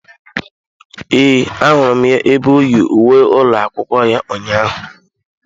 Ee, ahụrụ m ya ebe oyi uwe ụlọ akwụkwọ ya ụnyaahụ.